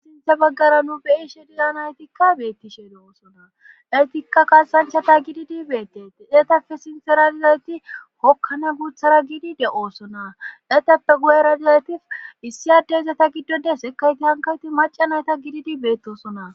sinthe baggara nu be7ishe dilan haytikka beettishe de oosona dhaytikka kaasanchata gididi beettete eetafe sinthera dalaeti hokkane guuthara gidi de7oosona letappe gu7era daleti issi addeizata giddonde sekayti hankayti macanayta gididi beettosona